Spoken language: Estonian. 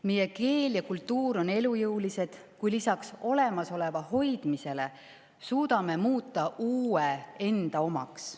Meie keel ja kultuur on elujõulised, kui lisaks olemasoleva hoidmisele suudame muuta uue enda omaks.